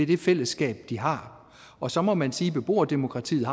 det fællesskab de har og så må man sige at beboerdemokratiet